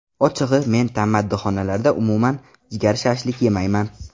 Ochig‘i, men tammadixonalarda umuman jigar shashlik yemayman.